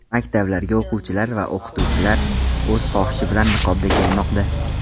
Maktablarga o‘quvchilar va o‘qituvchilar o‘z xohishi bilan niqobda kelmoqda.